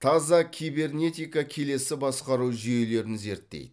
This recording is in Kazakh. таза кибернетика келесі басқару жүйелерін зерттейді